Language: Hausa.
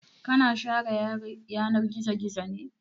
Ka na share yanar gizo-gizo ne?